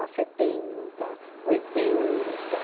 setenta, oitenta.